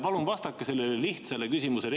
Palun vastake sellele lihtsale küsimusele.